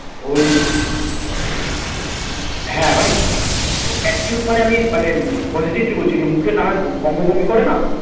ওই হ্যাঁ মানে attitude মানে আমি মানে উম positively বলছি, যে মুখে নানান অঙ্গ ভঙ্গি করে না